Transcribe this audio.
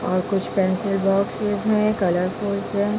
और कुछ pencil boxes है और कलर फुलस है।